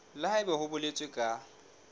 le haebe ho boletswe ka